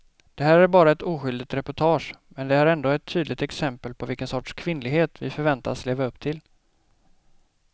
Det här är bara ett oskyldigt reportage men det är ändå ett tydligt exempel på vilken sorts kvinnlighet vi förväntas leva upp till.